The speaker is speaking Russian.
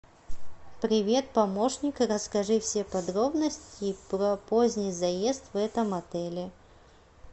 привет помощник расскажи все подробности про поздний заезд в этом отеле